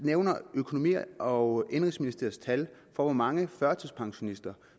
nævne økonomi og indenrigsministeriets tal for hvor mange førtidspensionister